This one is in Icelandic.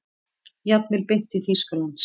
Jafnvel beint til Þýskalands.